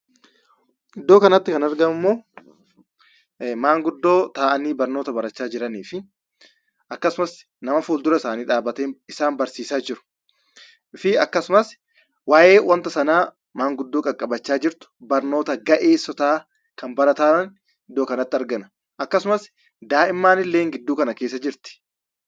Iddoo kanatti kan argamu immoo, manguddoo taa'aani barnoota baraacha jiraanii fi akkasumas, nama fulduraa isaani dhabbate isaan barsiisa jiruu fi akkasumas, waa'ee wanta sana manguddoo qaqqabachaa jirtu, barnoota ga'eesoota kan barataa jiran iddoo kanatti argina. akkasumas, daa'imanille gidduu kana keessa jirti.